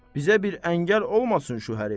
Bizə bir əngəl olmasın şu hərif.